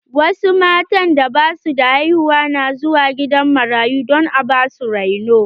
Wasu matan da ba su da haihuwa na zuwa gidan marayu don a ba su reno.